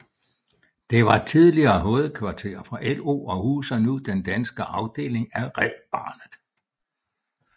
Den var tidligere hovedkvarter for LO og huser nu den danske afdeling af Red barnet